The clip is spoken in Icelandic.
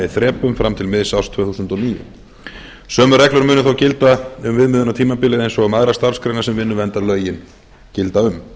þrepum fram til miðs árs tvö þúsund og níu sömu reglur munu þó gilda um viðmiðunartímabilið eins og um aðrar starfsgreinar sem vinnuverndarlögin gilda um